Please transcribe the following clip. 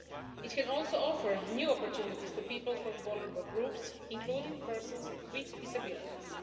It can also offer new opportunities to people from vulnerable groups, including persons with disabilities.